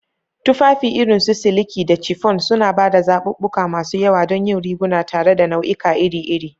Tufafi irin su siliki da chiffon suna ba da zaɓuɓɓuka masu yawa don yin riguna tare da nau'ika iri iri.